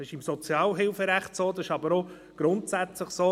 Dies gilt für das Sozialhilferecht, aber auch sonst: